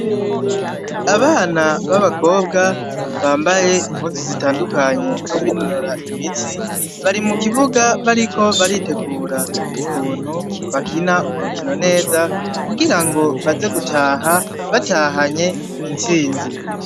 Abana b'abakobwa bambaye impuzu zitandukanye zo kwinonora imitsi, bari mu kibuga bariko baritegura ukuntu bakina urukino neza kugira ngo baze gutaha batahanye intsinzi.